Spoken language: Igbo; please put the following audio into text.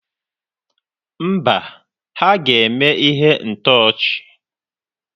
Mba, ha ga-eme ihe ntọchị.